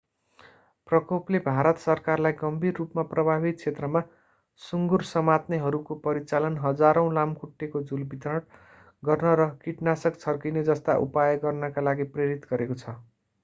प्रकोपले भारत सरकारलाई गम्भीर रूपमा प्रभावित क्षेत्रमा सुङ्गुर समात्नेहरूको परिचालन हजारौँ लामखुट्टेको झुल वितरण गर्न र किटनाशक छर्किने जस्ता उपाय गर्नका लागि प्रेरित गरेको छ